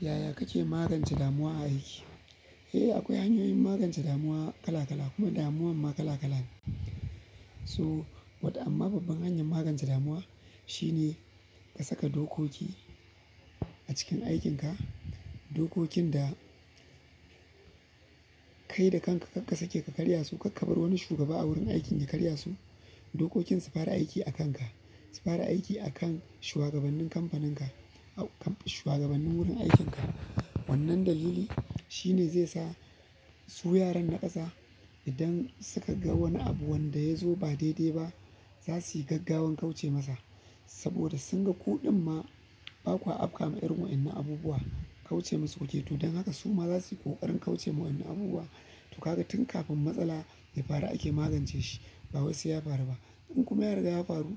Yaya kake magance damuwa a aiki? Eh, akwai hanyoyin magance damuwa kala kala kuma damuwan ma kala kala ne. So wato amma babban hanyar maganta damuwa shi ne ka saka dokoki a cikin aikin ka dokokin da kai da kanka karka sake ka karya su, kar ka bar wani shugaba a wurin aikin ka karya su. Dokokin su fara aiki a kanka, su fara aiki a kan shugabannin kamfaninka, shugabannin wurin aikinka. Wannan da dalili shine zai sa su yaran na kasa idan suka ga wani abu wanda ya zo ba daidai ba za su yi gaggawar kauce masa. Saboda sun ga ku ɗin ma ba kwa afka ma irin waɗannan abubuwa kauce masu kuke. To don haka su ma za su yi ƙoƙarin kauce wa in nan abubuwa. To ka ga tun kafin matsala ya faru ake magance shi ba wai sai ya faru ba. In kuma ya riga ya faru